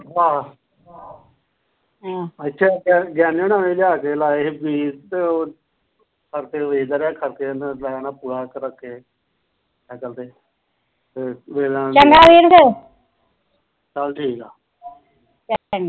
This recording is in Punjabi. ਹਮ ਚੰਗਾ ਵੀਰ ਫਿਰ ਚੱਲ ਠੀਕਾ ਚੰਗਾ